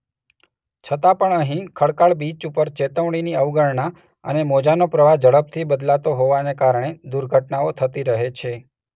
છતાં પણ અહીં ખડકાળ બીચ ઉપર ચેતવણીની અવગણના અને મોજાનો પ્રવાહ ઝડપથી બદલાતો હોવાને કારણે દુર્ઘટનાઓ થતી રહે છે.